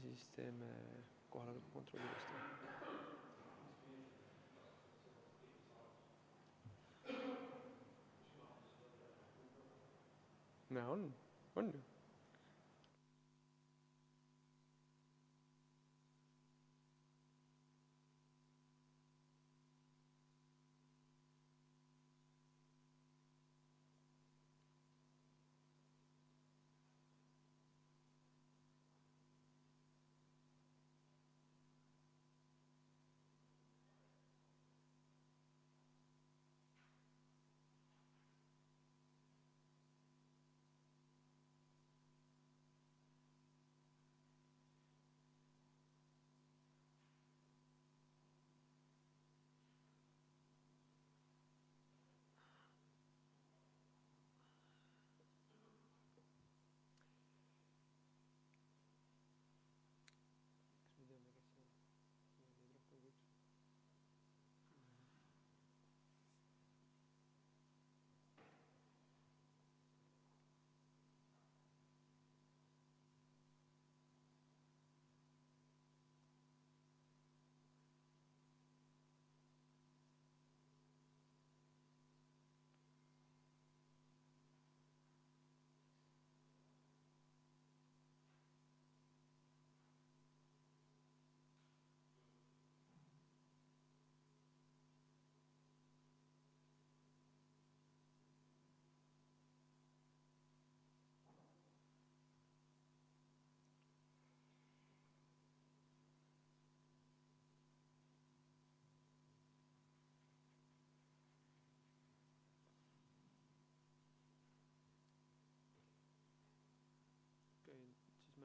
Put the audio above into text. V a h e a e g